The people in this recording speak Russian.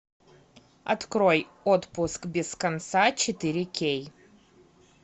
открой отпуск без конца четыре кей